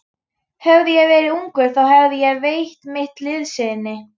Hefði ég verið ungur, þá hefði ég veitt mitt liðsinni.